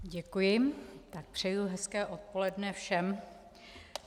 Děkuji a přeji hezké odpoledne všem.